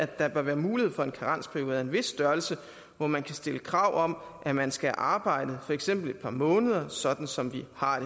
der bør være mulighed for en karensperiode af en vis størrelse hvor man kan stille krav om at man skal have arbejdet for eksempel et par måneder sådan som vi har